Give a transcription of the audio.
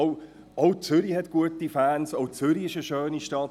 Auch Zürich hat gute Fans, auch Zürich ist eine schöne Stadt.